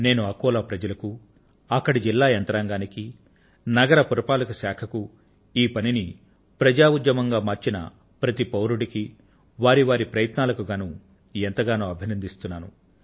నేను అకోలా ప్రజలకు అక్కడి జిల్లా నగర పురపాలక శాఖకు ఈ పనిని ప్రజాఉద్యమంగా మార్చిన ప్రతి పౌరుడికి వారి వారి ప్రయత్నాలకు గానూ ఎంతగానో అభినందిస్తున్నాను